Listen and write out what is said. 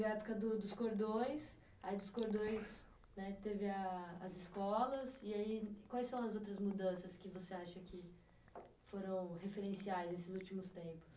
Teve a época do, dos cordões, aí dos cordões, né? Teve ah, as escolas, e aí quais são as outras mudanças que você acha que foram referenciais nesses últimos tempos?